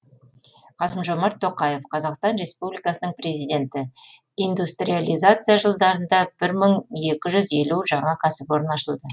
қасым жомарт тоқаев қазақстан республикасының президенті индустриализация жылдарында бір мың екі жүз елу жаңа кәсіпорын ашылды